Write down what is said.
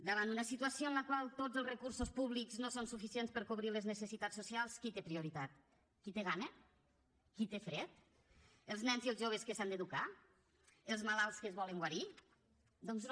davant una situació en la qual tots els recursos públics no són suficients per cobrir les necessitats socials qui té prioritat qui té gana qui té fred els nens i els joves que s’han d’educar els malalts que es volen guarir doncs no